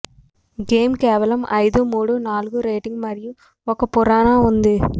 game కేవలం ఐదు మోడు నాలుగు రేటింగ్ మరియు ఒక పురాణ ఉంది